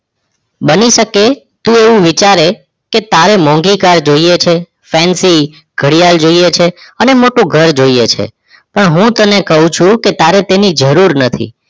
બની શકે તું એવું વિયાચરે કે ત્યારે મોંઘી car જોઈએ છે Fancy ઘડિયાળ જોઈએ અને મોટું ઘર જોઈએ છે પણ હું કહું છું તારે તેની જરૂર નથી